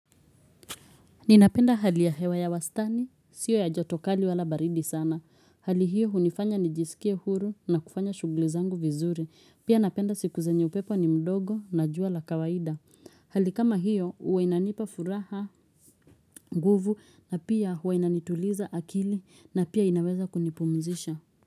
Ninapenda hali ya hewa ya wastani, sio ya joto kali wala baridi sana. Hali hiyo hunifanya nijisikia huru na kufanya shughuli zangu vizuri. Pia napenda siku zenye upepo ni mdogo na jua la kawaida. Hali kama hiyo, huwa inanipa furaha, guvu na pia huwa inanituliza akili na pia inaweza kunipumzisha.